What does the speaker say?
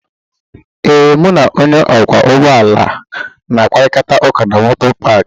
ee, m na Onye okwo ụgbọ ala na-akparịta ụka na moto paakị